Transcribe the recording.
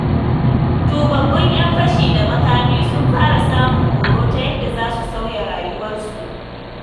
Tubabbun 'yan fashi da makami sun fara samun horo, ta yadda za su sauya rayuwarsu.